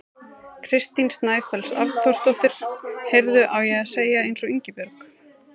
Kristín Snæfells Arnþórsdóttir: Heyrðu, á ég að segja eins og Ingibjörg?